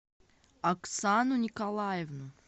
оксану николаевну